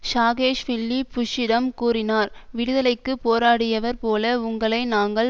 Saakashvili புஷ்ஷிடம் கூறினார் விடுதலைக்கு போராடுயவர் போல உங்களை நாங்கள்